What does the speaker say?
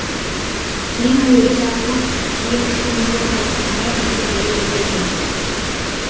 ең әуелі далалық кейін фрунзе қаласындағы госпитальда емделген